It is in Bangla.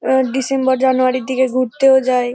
আ ডিসেম্বর জানুয়ারি -র দিকে ঘুরতেও যায় ।